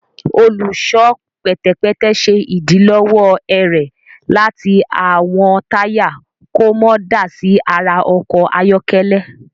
Olùṣọ pẹtẹpẹtẹ ṣe idilọwọ ẹrẹ láti awọn taya kò mọ dá sí àrà ọkọ ayọkẹlẹ